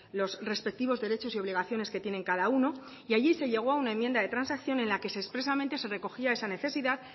los respectivos derechos y obligaciones que tienen cada uno y allí se llegó a una enmienda de transacción en la que expresamente se recogía esa necesidad